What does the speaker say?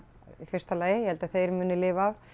í fyrsta lagi ég held að þeir muni lifa af